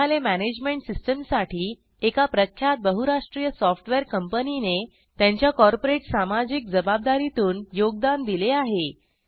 ग्रंथालय मॅनेजमेंट सिस्टीमसाठी एका प्रख्यात बहुराष्ट्रीय सॉफ्टवेअर कंपनीने त्यांच्या कॉर्पोरेट सामाजिक जबाबदारीतून योगदान दिले आहे